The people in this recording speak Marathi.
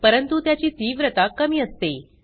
परंतु त्याची तीव्रता कमी असते